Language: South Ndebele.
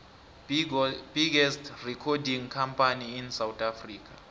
biggest recording company in south africa